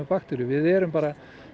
bakteríur við erum bara